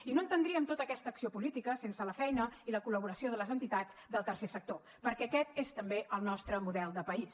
i no entendríem tota aquesta acció política sense la feina i la col·laboració de les entitats del tercer sector perquè aquest és també el nostre model de país